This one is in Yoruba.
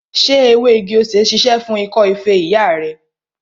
Ṣé ewé igi-osè ṣíṣe fún ikọ́ feré ìyá rẹ?